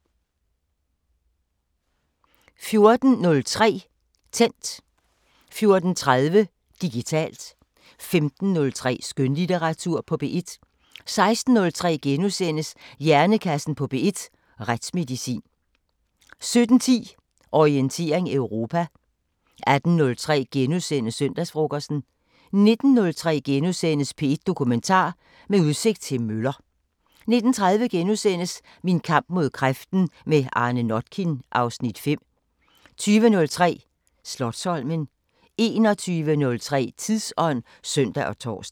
14:03: Tændt 14:30: Digitalt 15:03: Skønlitteratur på P1 16:03: Hjernekassen på P1: Retsmedicin * 17:10: Orientering Europa 18:03: Søndagsfrokosten * 19:03: P1 Dokumentar: Med udsigt til møller * 19:30: Min kamp mod kræften – med Arne Notkin (Afs. 5)* 20:03: Slotsholmen 21:03: Tidsånd (søn og tor)